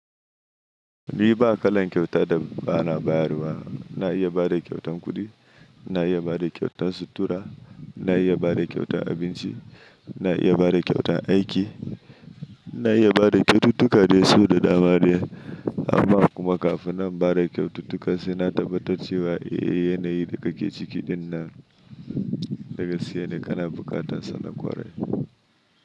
Ni ba kalan kyauta da ba na bayarwa. Na iya bada kyautan kuɗi, na iya bada kyautan sutura, na iya bada kyautan abinci, na iya bada kyautan aiki, na iya bada kyaututtuka dai so da dama. Amma kuma kafin in bada kyaututtuka sai na tabbatar cewa yanayin da ka ke ciki ɗin nan daga gaskene kana buƙata salla kwarai.